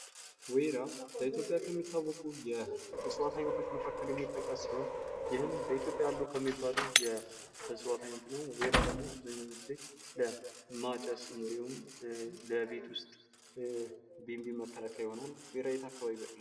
ወይራ በኢትዮጵያ ከሚታወቁ የእፅዋት አይነቶች መካከል የሚጠቀስ ሲሆን፤ ይህም በኢትዮጵያ አሉ ከሚባሉ የእፅዋት አይነት ነው። ወይራ ደግሞ አብዛኛውን ጊዜ ለማጨስ እንዲሁም ለቤት ውስጥ ቢንቢ መከላከያ ይሆናል ። ወይራ በየት አካባቢ ይበቅላል ?